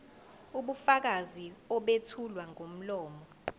ubufakazi obethulwa ngomlomo